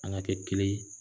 An ka kɛ kelen ye